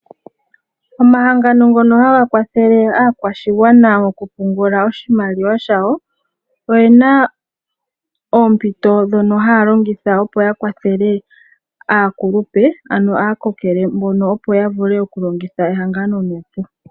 Omahangano ngono haga kwathele aakwashigwana oku pungula oshimaliwa shawo, oyena oompito dhono haya longitha opo ya kwathele aakulupe nenge aakokele mbono opo ya vule oku longitha ehangano nuupu.